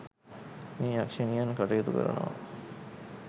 මේ යක්ෂණියන් කටයුතු කරනවා.